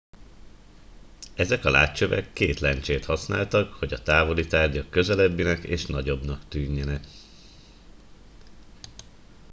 ezek a látcsövek két lencsét használtak hogy a távoli tárgyak közelebbinek és nagyobbnak tűnjenek